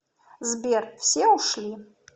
сбер все ушли